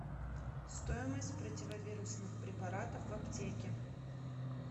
стоимость противовирусных препаратов в аптеке